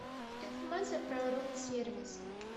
информация про рум сервис